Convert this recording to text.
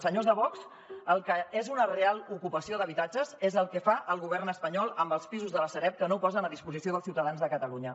senyors de vox el que és una real ocupació d’habitatges és el que fa el govern espanyol amb els pisos de la sareb que no posen a disposició dels ciutadans de catalunya